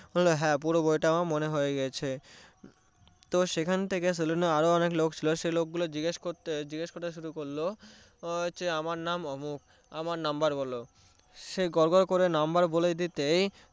বললো হ্যা পুরো বইটা আমার মনে পড়ে গিয়েছে তো সেখান থেকে সেলুনে আরো অনেক লোক ছিলো সে লোকগুলা জিজ্ঞেস করতে জিজ্ঞেস করতে শুরু করলো আমার নাম অমুক আমার number বলো সে গড়গড় করে number বলে দিতেই